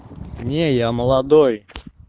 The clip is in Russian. не я молодой